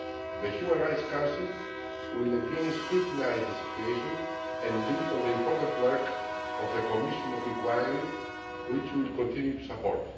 The Human Rights Council will again scrutinise the situation and build on the important work of the Commission of Inquiry, which we will continue to support.